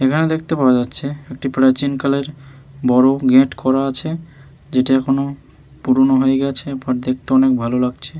এখানে দেখতে পাওয়া যাচ্ছে একটি প্রাচীন কালের বড়ো গেট করা আছে যেটা এখনো পুরোনো হয়ে গেছে বাট দেখতে অনেক ভালো লাগছে।